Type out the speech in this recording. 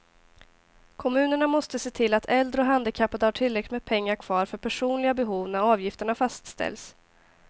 Kommunerna måste se till att äldre och handikappade har tillräckligt med pengar kvar för personliga behov när avgifterna fastställs.